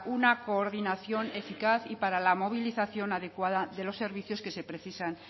una coordinación eficaz y para la movilización adecuada de los servicios que se precisan